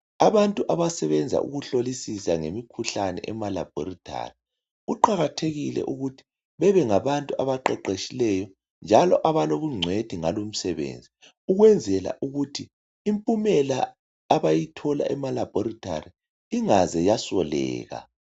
Abantu abasebenza ngokuhlolisisa imikhuhlane emalabhorethi kuqakathekile ukuthi bebengabantu abaqeqeshileyo njalo abalobungcwethi ngalo umsebenzi ukwenzela ukuthi impumela abayithola emalabhorethi ingaze yasoleka.